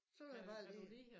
Så vil jeg bare ligge